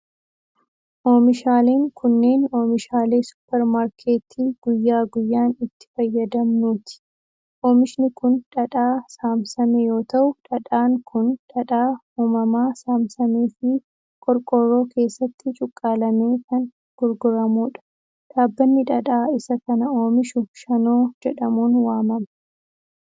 Oomishaaleen kunneen, oomishaalee supparmaarketti guyya guyyaan itti fayyadamnuuti. Oomishni kun, dhadhaa saamsame yoo ta'u, dhadhaan kun dhadhaa uumamaa saamsamee fi qorqoorroo keessatti cuqqaalamee kan gurguramuu dha. Dhaabbanni dhadhaa isa kana oomishuu shanoo jedhamuun waamama.